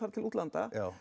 til útlanda